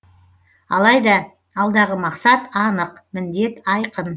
алайда алдағы мақсат анық міндет айқын